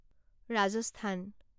Rajasthan